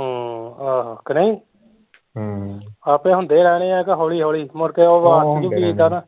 ਆਹੋ ਕਿ ਨਹੀਂ ਆਪੇ ਹੁੰਦੇ ਰਹਿਣੇ ਆ ਕਿ ਹੋਲੀ ਹੋਲੀ ਮੁੜ ਕੇ